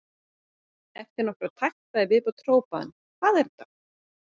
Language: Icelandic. Eftir nokkra takta í viðbót hrópaði hann: Hvað er þetta?